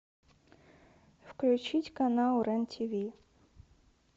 включить канал рен тв